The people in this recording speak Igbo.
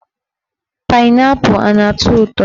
Painaipu ana atọ ụtọ